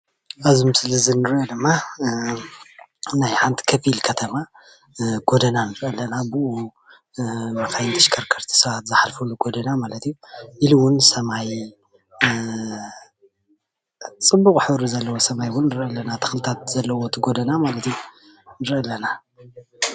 ኣብዚ ምስሊ ዝርአ ዘሎ ድማ ናይ ሓንቲ ኸፉል ኸተማ ጎደና ንርኢ ኣለና ።ብኡመኻይን ተሸከርከርቲ ሰባት ዝሓልፍሉ ፣ፅቡቅ ሕብሪ ዘለው ንርኢ ኣለና።